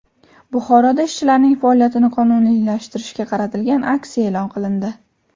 Buxoroda ishchilarning faoliyatini qonuniylashtirishga qaratilgan aksiya e’lon qilindi.